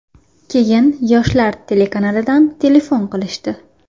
Keyin ‘Yoshlar’ telekanalidan telefon qilishdi.